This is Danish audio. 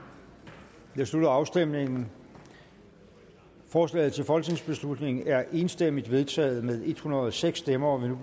jeg slutter afstemningen forslaget til folketingsbeslutning er enstemmigt vedtaget med en hundrede og seks stemmer og